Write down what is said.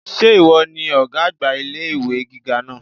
Sé ìwo ni ògá àgbà ilé ìwé gíga náà?